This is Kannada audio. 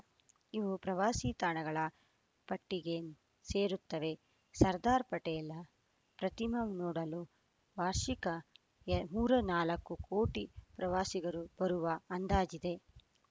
ಇವು ಪ್ರವಾಸಿ ತಾಣಗಳ ಪಟ್ಟಿಗೆ ಸೇರುತ್ತವೆ ಸರ್ದಾರ ಪಟೇಲ ಪ್ರತಿಮೆ ನೋಡಲು ವಾರ್ಷಿಕ ಎ ಮೂರ ನಾಲ್ಕು ಕೋಟಿ ಪ್ರವಾಸಿಗರು ಬರುವ ಅಂದಾಜಿದೆ